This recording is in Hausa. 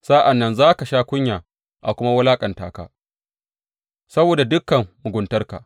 Sa’an nan za ka sha kunya a kuma walaƙanta ka saboda dukan muguntarka.